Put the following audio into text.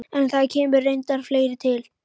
En það kemur reyndar fleira til.